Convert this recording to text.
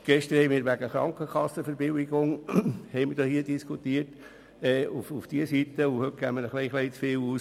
Gestern diskutierten wir im Zusammenhang mit den Krankenkassenverbilligungen in diese Richtung, und heute geben wir ein klein bisschen zu viel aus.